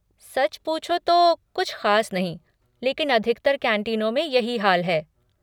सच पूछो तो कुछ ख़ास नहीं लेकिन अधिकतर कैंटीनों में यही हाल है।